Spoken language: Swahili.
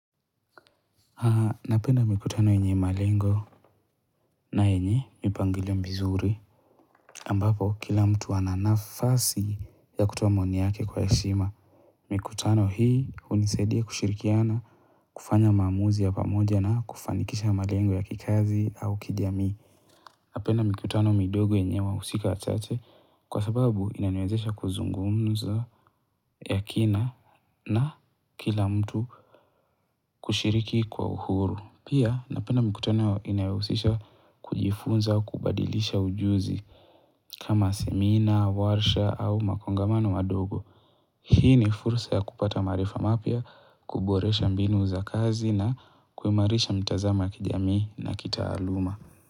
Haa napenda mikutano yenye malengo na yenye mipangilio mizuri ambapo kila mtu ana nafasi ya kutoa maoni yake kwa heshima mikutano hii hunisaidia kushirikiana kufanya maamuzi ya pamoja na kufanikisha malengo ya kikazi au kijamii napenda mikutano midogo yenye wahusika wachache kwa sababu inaniwezesha kuzungumza ya kina na kila mtu kushiriki kwa uhuru pia napenda mikutano inayohusisha kujifunza kubadilisha ujuzi kama semina warsha au makongamano madogo hii ni fursa ya kupata maarifa mapya kuboresha mbinu za kazi na kuimarisha mitazamo kijamii na kitaaluma.